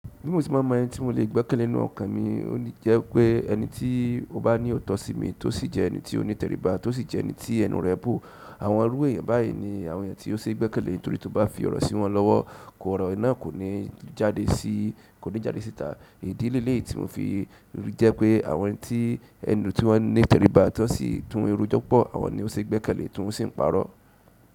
Bí mo ṣe mọn mọ ẹni tí mo lè gbẹ́kẹ̀lé nínú ọkàn mi, ó lẹ́je pé ẹni tí ó bá ní ootọ sí mi, tó sì jẹ́ ẹni tí ó ní itẹ̀ríba, tó sì jẹ́ ẹni tí ẹnu rẹ̀ bo. Àwọn irú èèyàn báyìí ní àwọn èèyàn ti ó ṣe gbẹ́kẹ̀lé, torí tí o bá fi ọ̀rọ̀ sí wọn lọ́wọ́, kó ọ̀rọ̀ náà kò ní jáde síta. Ìdí léléyií tí mo fi ríi jẹ́ pé àwọn ẹni tí ẹnu tí wọ́n ní tẹ̀ríba, tí wọ́n sì ti wọn rojọ púpọ̀, àwọn ni ó ṣe gbẹ́kẹ̀lé, ti wọn sìn parọ.